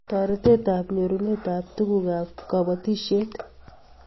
Toretet ab nyorunet ab tukuk ab kapotisiet